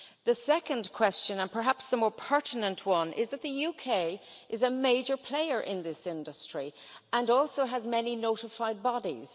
The second question and perhaps the more pertinent one is that the UK is a major player in this industry and also has many notified bodies.